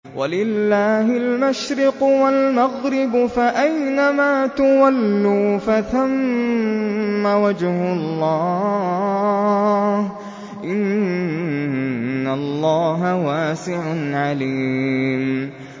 وَلِلَّهِ الْمَشْرِقُ وَالْمَغْرِبُ ۚ فَأَيْنَمَا تُوَلُّوا فَثَمَّ وَجْهُ اللَّهِ ۚ إِنَّ اللَّهَ وَاسِعٌ عَلِيمٌ